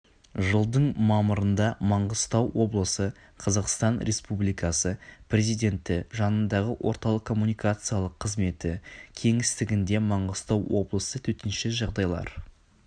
жылдың мамырында маңғыстау облысы қазақстан республикасы президенті жанындағы орталық коммуникациялық қызметі кеңістігінде маңғыстау облысы төтенше жағдайлар